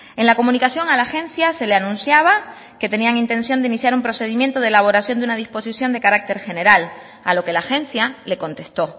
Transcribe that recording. en la comunicación a la agencia se le anunciaba que tenían intención de iniciar un procedimiento de elaboración de una disposición de carácter general a lo que la agencia le contestó